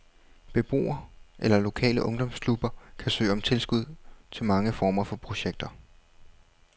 Beboere eller lokale ungdomsklubber kan søge om tilskud til mange former for projekter.